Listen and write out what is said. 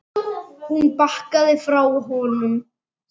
Hún bakkaði frá honum.